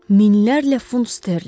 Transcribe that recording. Minlərlə funt sterlinq?